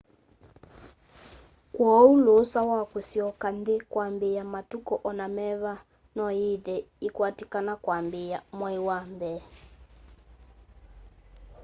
kwooũ lũũsa wa kũsyoka nthĩ kwambĩĩa matũkũ ona meva noyĩthe yĩkwatĩkana kwambĩĩa 1 mwai wa mbee